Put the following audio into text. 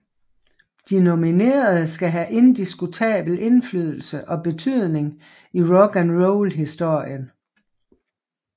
De nominerede skal have indiskutabel indflydelse og betydning i rock and roll historien